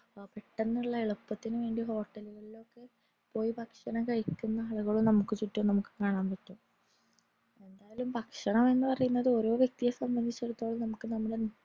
പെട്ടന്നുള്ള എളുപ്പത്തിന് വേണ്ടി hotel ലോക്കെ പോയി ഭക്ഷണം കഴിക്കുന്ന ആളുകളും നമുക് ചുറ്റും നമുക് കാണാൻ പറ്റും എന്തയാലും ഭക്ഷണം എന്ന് പറയുന്നത് ഓരോ വ്യക്തിയെ സംബന്ധിച്ചിടത്തോളം നമ്മുക് നമ്മുടെ